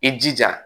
I jija